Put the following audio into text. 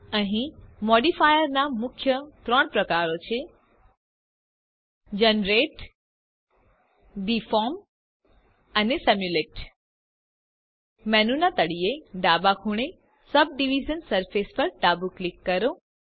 અહીં મોદીફાયરના મુખ્ય ત્રણ પ્રકારો છે Generate ડિફોર્મ અને સિમ્યુલેટ મેનુના તળિયે ડાબા ખૂણે સબડિવિઝન સરફેસ ડાબું ક્લિક કરો